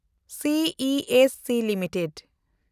C I S C limited